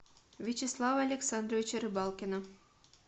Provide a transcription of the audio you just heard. вячеслава александровича рыбалкина